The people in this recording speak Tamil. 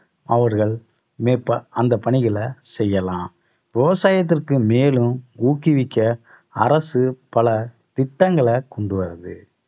அவர்கள் அந்த பணிகளை செய்யலாம் விவசாயத்திற்கு மேலும் ஊக்குவிக்க அரசு பல திட்டங்களை கொண்டு வருது